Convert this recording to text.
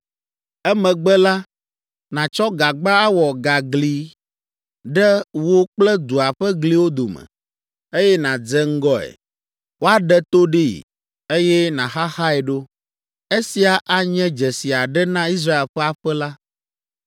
Emegbe la, nàtsɔ gagba awɔ gagli ɖe wò kple dua ƒe gliwo dome, eye nàdze ŋgɔe. Woaɖe to ɖee, eye nàxaxae ɖo. Esia anye dzesi aɖe na Israel ƒe aƒe la.